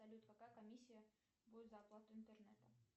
салют какая комиссия будет за оплату интернета